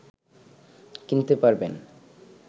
কিনতে পারবেন